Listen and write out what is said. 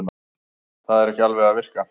Það er ekki alveg að virka